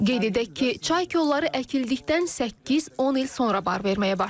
Qeyd edək ki, çay kolları əkildikdən 8-10 il sonra bar verməyə başlayır.